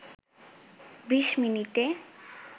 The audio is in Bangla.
২০ মিনিটে